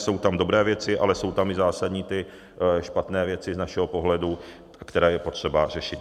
Jsou tam dobré věci, ale jsou tam i zásadní ty špatné věci z našeho pohledu, které je potřeba řešit.